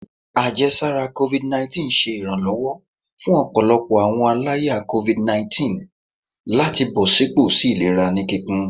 Ajẹsara covid19 ṣe iranlọwọ fun ọpọlọpọ awọn alaya covid lati bọsipọ si ilera ni kikun